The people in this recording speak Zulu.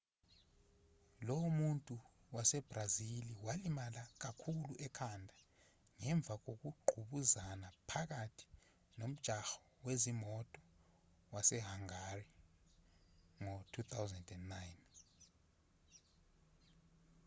lo muntu wasebrazili walimala kakhulu ekhanda ngemva kokungqubuzana phakathi nomjaho wezimoto wasehangari ngo-2009